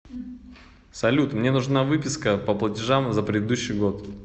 салют мне нужна выписка по платежам за предыдущий год